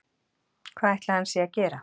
Hvað ætli hann sé að gera